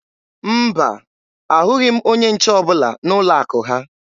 Mba, ahụghị m onye nche ọbụla n'ụlọ akụ ha.